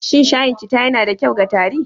Shin shayin cita yana da kyau ga tari?